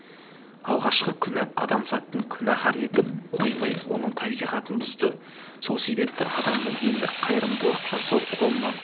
алғашқы күнә адамзатты күнәһар етіп қоймай оның табиғатын бұзды сол себепті адамның енді қайырымдылық жасау қолынан